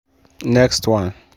next one